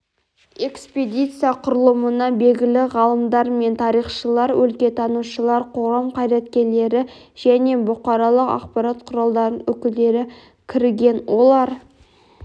экспедиция құрылымына белгілі ғалымдар мен тарихшылар өлкетанушылар қоғам қайраткерлері және бұқаралық ақпарат құралдарының өкілдері кірген олар